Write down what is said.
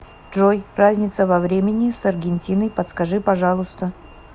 джой разница во времени с аргентиной подскажи пожалуйста